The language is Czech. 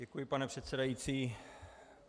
Děkuji, pane předsedající.